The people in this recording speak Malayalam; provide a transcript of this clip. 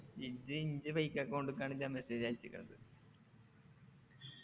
ഇജ്ജ് ഇൻ്റെ fake account ക്കാണ് ഞാൻ message അയച്ച്ക്കണത്